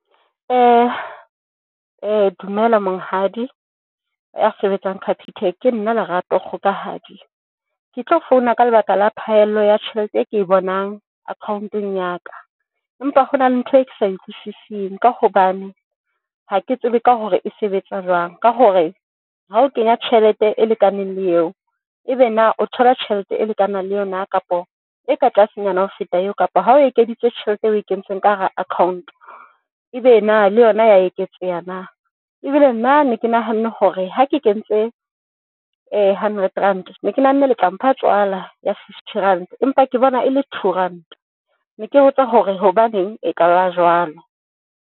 Dumela monghadi ya sebetsang Capitec. Ke nna Lerato Kgokahanyo. Ke tlo founa ka lebaka la phaello ya tjhelete e ke bonang account-eng ya ka empa hona le ntho e ke sa e utlwisising ka hobane ha ke tsebe ka hore e sebetsa jwang. Ka hore ha o kenya tjhelete e lekaneng le eo, ebe na o thola tjhelete e lekanang le yona, kapa e ka tlasenyana ho feta eo, kapa ha o ekeditse tjhelete eo e kentseng ka hara account, ebe na le yona ya eketseha na? Ebile nna ne ke nahanne hore ha ke kentse hundred ranta ne ke nahanne le tla mpha tswala ya fifty rand, empa ke bona ele two ranta ne ke botsa hore hobaneng e ka ba jwalo?